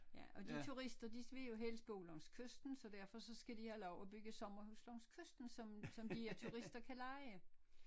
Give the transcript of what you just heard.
Ja og de turister de vil jo helst bo langs kysten så derfor så skal de have lov at bygge sommerhuse langs kysten som som de turister kan leje